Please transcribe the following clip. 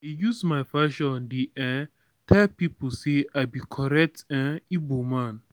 i dey use my fashion dey um tel pipu say i be correct um ibo man.